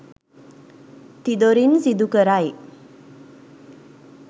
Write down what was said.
තිදොරින් සිදු කරයි.